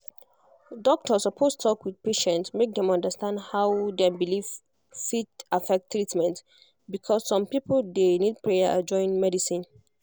doctor suppose talk with patient make dem understand how dem belief fit affect treatment because some people dey need prayer join medicine